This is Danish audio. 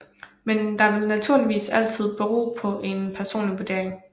Men det vil naturligvis altid bero på en personlig vurdering